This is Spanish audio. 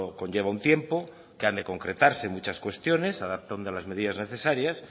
conlleva un tiempo que han de concretarse muchas cuestiones adaptando las medidas necesarias